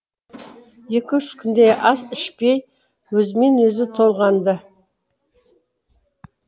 екі үш күндей ас ішпей өзімен өзі толғанды